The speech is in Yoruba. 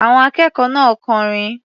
Àwọn akẹ́kọ̀ọ́ náà kọrin.